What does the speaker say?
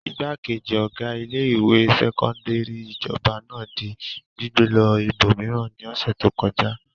Ìgbákejì ọ̀gá ilé-ìwé sẹ́kọ́ndárì ìjọba náà di gbígbé lọ ibòmíràn ní ọ̀sẹ̀ tó kọjá.